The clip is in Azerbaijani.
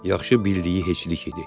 Yaxşı bildiyi heçlik idi.